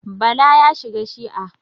Bala ya shiga shi'a.